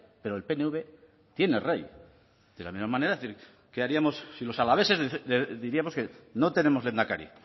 pero el pnv tiene rey de la misma manera qué haríamos si los alaveses diríamos que no tenemos lehendakari